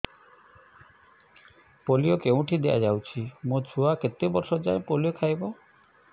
polio କେଉଁଠି ଦିଆଯାଉଛି ମୋ ଛୁଆ କେତେ ବର୍ଷ ଯାଏଁ ପୋଲିଓ ଖାଇବ